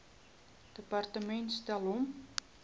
departement stel hom